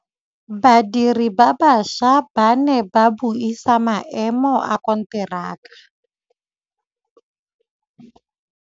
Badiri ba baša ba ne ba buisa maêmô a konteraka.